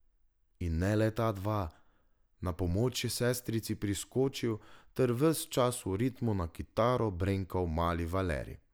In ne le ta dva, na pomoč je sestrici priskočil ter ves čas v ritmu na kitaro brenkal mali Valerij.